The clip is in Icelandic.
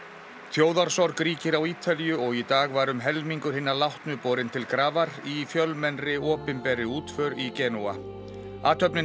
þjóðarsorg ríkir á Ítalíu og í dag var um helmingur hinna látnu borinn til grafar í fjölmennri opinberri útför í Genúa athöfnin